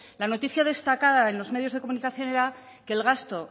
la noticia destacada en los medios de comunicación era que el gasto